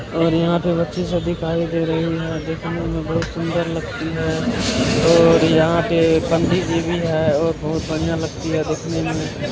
यह फोटो एक बहुत बड़े बिल्डिंग की है जिसमें कई अपार्टमेंट हैं इसमे ढेर सारे किरायेदार रहते होंगे किराया ले कर और सारे अपार्टमेंट्स के आगे एक बालकनी दिखाई दे रही है।